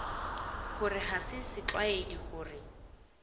gore ga se setlwaedi gore